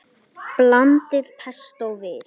Blandið pestó við.